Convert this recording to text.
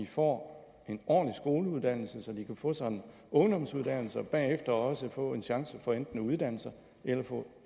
får en ordentlig skoleuddannelse så de kan få sig en ungdomsuddannelse og bagefter også få en chance for enten at uddanne sig eller få